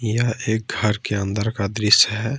यह एक घर के अंदर का दृश्य है।